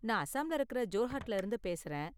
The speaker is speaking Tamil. நான் அசாம்ல இருக்குற ஜோர்ஹட்ல இருந்து பேசுறேன்.